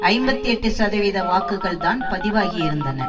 ஐம்பத்தி எட்டு சதவீத வாக்குகள் தான் பதிவாகி இருந்தன